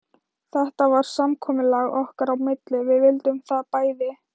Þetta var samkomulag okkar á milli, við vildum það bæði.